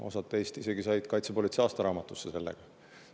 Osa teist sai isegi Kaitsepolitsei aastaraamatusse sellega.